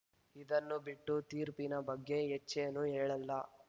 ಇದನ್ನು ಬಿಟ್ಟು ತೀರ್ಪಿನ ಬಗ್ಗೆ ಹೆಚ್ಚೇನೂ ಹೇಳಲ್ಲ